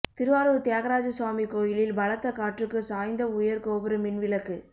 திருவாரூர் தியாகராஜ சுவாமி கோயிலில் பலத்த காற்றுக்கு சாய்ந்த உயர் கோபுர மின்விளக்கு